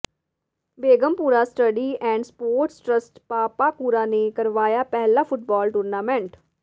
Begampura study and sports trust Papakura ਨੇ ਕਰਵਾਇਆ ਪਹਿਲਾ ਫੁੱਟਬਾਲ ਟੂਰਨਾਮੈਂਟ